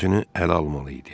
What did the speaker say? Özünü ələ almalı idi.